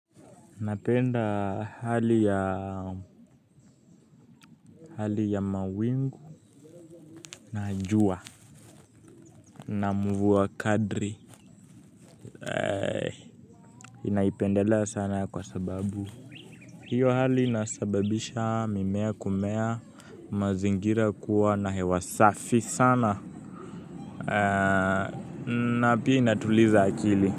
Napenda hali ya mawingu na jua na mvua kadri ninaipendela sana kwa sababu. Hiyo hali inasababisha mimea kumea, mazingira kuwa na hewa safi sana na pia inatuliza akili.